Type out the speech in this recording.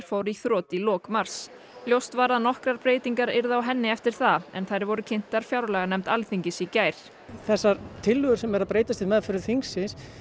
fór í þrot í lok mars ljóst var að nokkrar breytingar yrðu á henni eftir það en þær voru kynntar fjárlaganefnd Alþingis í gær þessar tillögur sem eru að breytast við meðferð þingsins